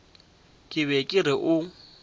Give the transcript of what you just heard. ke be ke re o